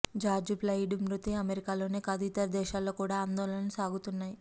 George Floyd మృతి అమెరికాలోనే కాదు ఇతర దేశాల్లో కూడ ఆందోళనలు సాగుతున్నాయి